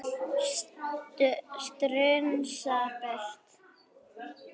Strunsa burtu.